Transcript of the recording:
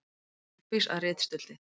Uppvís að ritstuldi